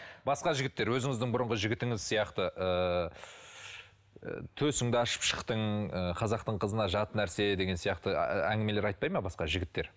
басқа жігіттер өзіңіздің бұрынғы жігітіңіз сияқты ыыы төсіңді ашып шықтың ы қазақтың қызы қылығына жат нәрсе деген сияқты әңгімелер айтпайды ма басқа жігіттер